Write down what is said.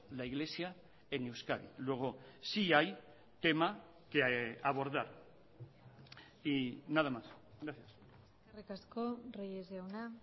la iglesia en euskadi luego sí hay tema que abordar y nada más gracias eskerrik asko reyes jauna